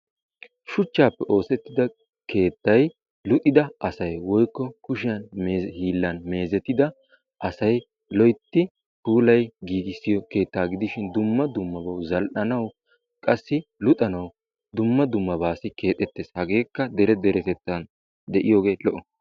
Shuchchaappe oosettida keettay luuxxida asay woykko kushiyaan hiillan meezzetida asay loytti puulayi giigiso keettaa gidishin dumma dummabaw zal"anawu qassi luxxanawu dumma dummabasi keexxettees. Hageekka dere deretettaasi keexxetiyoogee lo"o.